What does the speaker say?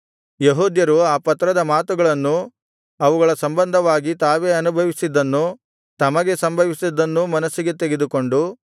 ಯೆಹೂದ್ಯರು ಆ ಪತ್ರದ ಮಾತುಗಳನ್ನೂ ಅವುಗಳ ಸಂಬಂಧವಾಗಿ ತಾವೇ ಅನುಭವಿಸಿದ್ದನ್ನೂ ತಮಗೆ ಸಂಭವಿಸಿದ್ದನ್ನೂ ಮನಸ್ಸಿಗೆ ತೆಗೆದುಕೊಂಡು